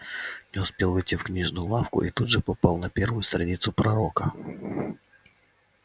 не успел войти в книжную лавку и тут же попал на первую страницу пророка